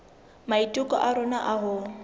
maiteko a rona a ho